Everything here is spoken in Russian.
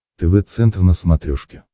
тв центр на смотрешке